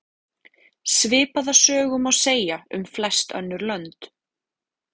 Svipaða sögu má segja um flest önnur lönd.